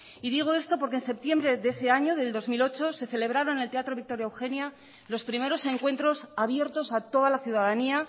y digo esto porque en septiembre de ese año de dos mil ocho se celebraron en el teatro victoria eugenia los primeros encuentros abiertos a toda la ciudadanía